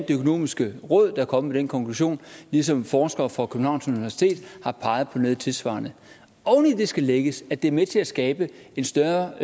det økonomiske råd der er kommet med den konklusion ligesom forskere fra københavns universitet har peget på noget tilsvarende oven i det skal lægges at det er med til at skabe en større